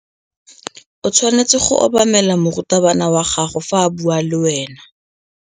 O tshwanetse go obamela morutabana wa gago fa a bua le wena.